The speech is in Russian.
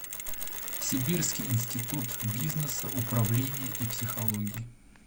сибирский институт бизнеса управления и психологии